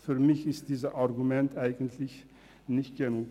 Für mich ist dieses Argument deshalb nicht stichhaltig.